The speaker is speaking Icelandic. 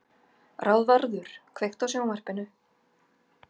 Ráðvarður, kveiktu á sjónvarpinu.